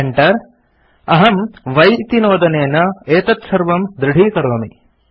Enter अहम् y इति नोदनेन एतत्सर्वं दृढीकरोमि